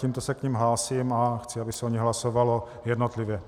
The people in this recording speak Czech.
Tímto se k nim hlásím a chci, aby se o nich hlasovalo jednotlivě.